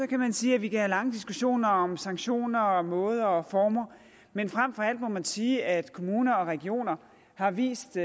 kan man sige at vi kan have lange diskussioner om sanktioner og måder og former men frem for alt må man sige at kommuner og regioner har vist